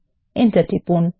enter টিপুন